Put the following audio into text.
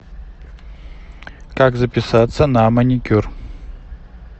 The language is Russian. как записаться на маникюр